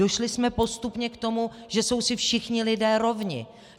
Došli jsme postupně k tomu, že jsou si všichni lidé rovni.